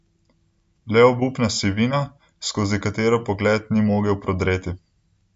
Le obupna sivina, skozi katero pogled ni mogel prodreti.